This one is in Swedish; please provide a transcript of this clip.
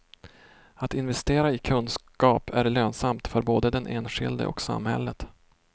Att investera i kunskap är lönsamt för både den enskilde och samhället.